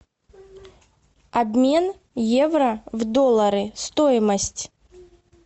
обмен евро в доллары стоимость